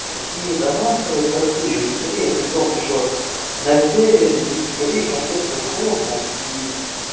какие дома строят по всей южной корее при том то что на севере южной кореи капец как холодно и